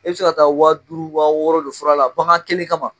E bɛ se ka taa waa duuru waa wɔɔrɔ don fura la bagan kelen kama